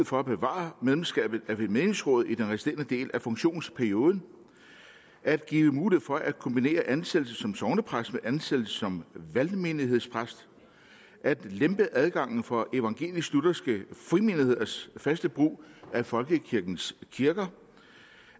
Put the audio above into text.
for at bevare medlemskabet af menighedsrådet i den resterende del af funktionsperioden at give mulighed for at kombinere ansættelse som sognepræst med ansættelse som valgmenighedspræst at lempe adgangen for evangelisk lutherske frimenigheders faste brug af folkekirkens kirker